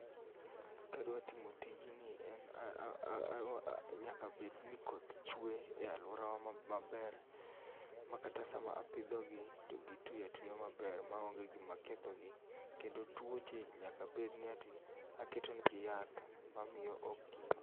Kadwa timo tijni en nyaka bedni koth chwe e aluora wa maber makata sama apidho gi to gitwi atwiya maber maonge gima kethogi. Kendo tuoche nyaka bedni ati aketo negi yath mamiyo ok gi